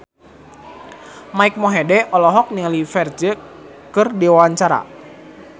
Mike Mohede olohok ningali Ferdge keur diwawancara